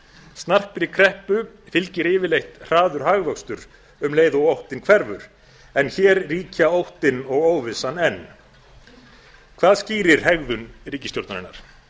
snarpri kreppu fylgir yfirleitt hraður hagvöxtur um leið og óttinn hverfur en hér ríkja óttinn og óvissan enn hvað skýrir hefðu ríkisstjórnarinnar